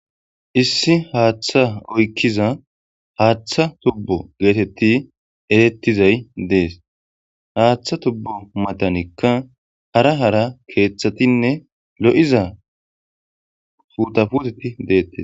Issi haththa oykkiza haththa tubbo gettetti dhesettizay dhe'es. Haththa tubbo maththanikka hara hara keththattinne lo'iza puda puththetti dettees.